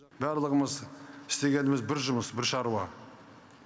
барлығымыз істегеніміз бір жұмыс бір шаруа